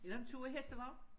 Eller en tur i hestevogn